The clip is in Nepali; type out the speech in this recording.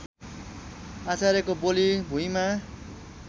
आचार्यको बोली भुइँमा